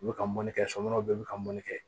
U bi ka mɔnni kɛ somɔɔn bɛɛ bi ka mɔnni kɛ